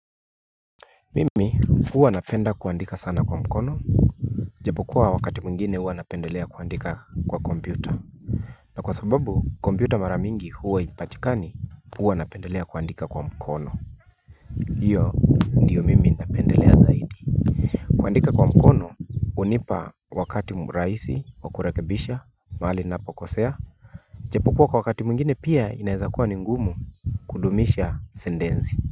Mimi huwa napenda kuandika sana kwa mkono. Japokuwa wakati mwingine huwa napendelea kuandika kwa kompyuta. Na kwa sababu kompyuta maramingi huwa haipatikani huwa napendelea kuandika kwa mkono. Hiyo ndiyo mimi napendelea zaidi. Kuandika kwa mkono hunipa wakati mraisi wakurakebisha mahali ninapo kosea. Japokuwa kwa wakati mwingine pia inaweza kuwa ni ngumu kudumisha sentensi.